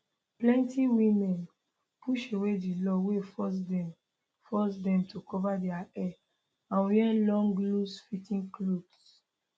plenti women push away di law wey force dem force dem to cover dia hair and wear long loosefitting clothes